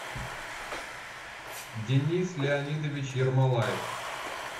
денис леонидович ермолаев